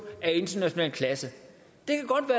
af international klasse